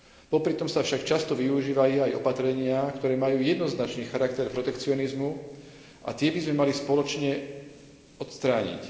Popritom sa však často využívajú aj opatrenia, ktoré majú jednoznačný charakter protekcionizmu, a tie by sme mali spoločne odstrániť.